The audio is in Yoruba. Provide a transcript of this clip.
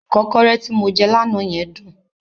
Ìkọ́kọrẹ́ tí mo jẹ́ lánàá yẹn dùn.